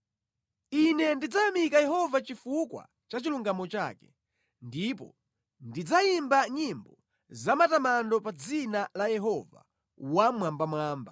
Ine ndidzayamika Yehova chifukwa cha chilungamo chake; ndipo ndidzayimba nyimbo zamatamando pa dzina la Yehova Wammwambamwamba.